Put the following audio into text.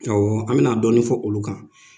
Awɔ an bɛna dɔɔnin fɔ olu kan.